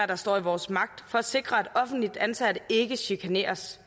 der står i vores magt for at sikre at offentligt ansatte ikke chikaneres